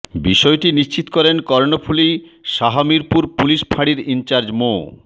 বিষয়টি নিশ্চিত করেন কর্ণফুলী শাহমীরপুর পুলিশ ফাঁড়ির ইনচার্জ মো